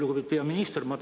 Lugupeetud peaminister!